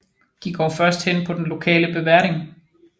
De går først hen på den lokale beverding